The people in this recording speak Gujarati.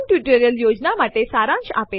હવે ચાલો આ ફાઈલ પર ડબ્લ્યુસી આદેશ વાપરીએ